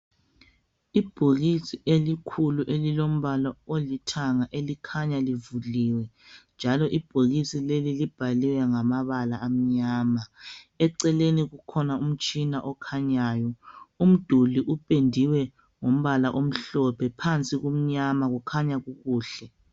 Ibhokisi elikhulu elilombala olithanga elikhanya livuliwe njalo ibhokisi leli libhaliwe ngamabala amnyama. Eceleni kukhona umtshina okhanyayo. Umduli upendiwe ngombala omhlophe phansi kumnyama kukhanya kukuhle.